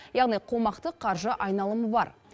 яғни қомақты қаржы айналымы бар